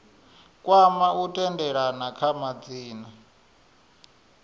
kwama u tendelana kha madzina